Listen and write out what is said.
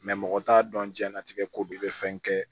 mɔgɔ t'a dɔn jiyɛn latigɛ ko bɛ i bɛ fɛn kɛ